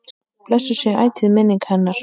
Blessuð sé ætíð minning hennar.